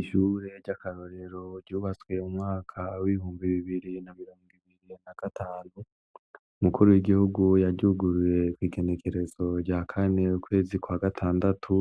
Ishure ry'akarorero ryubatswe m'umwaka wihumbi bibiri na birong' ibiri na gatanu, umukuru w'igihugu yaryuguruye kw' igenekerezo rya kane ,ukwezi kwa gatandatu